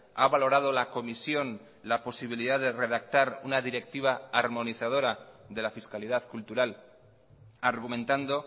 ha valorado la comisión la posibilidad de redactar una directiva armonizadora de la fiscalidad cultural argumentando